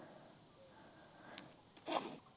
শ